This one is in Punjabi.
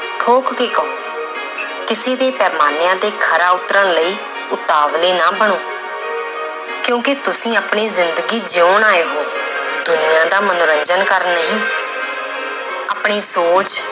ਠੋਕ ਕੇ ਕਹੋ ਕਿਸੇ ਦੇ ਪੈਮਾਨਿਆਂ ਤੇ ਖਰਾ ਉਤਰਨ ਲਈ ਉਤਾਵਲੇ ਨਾ ਬਣੋ ਕਿਉਂਕਿ ਤੁਸੀਂ ਆਪਣੀ ਜ਼ਿੰਦਗੀ ਜਿਉਣ ਆਏ ਹੋ ਦੁਨੀਆਂ ਦਾ ਮਨੋਰੰਜਨ ਕਰਨ ਨਹੀਂ ਆਪਣੀ ਸੋਚ